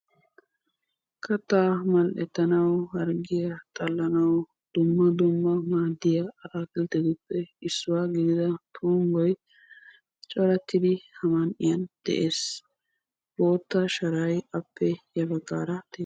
kataa mal'etanawu harggiya xalanau dumma dumma maadiya ataakiltettuppe issuwa gidida tuumoy ha man'iyan dees. bootta sharay appe ya bagaara dees.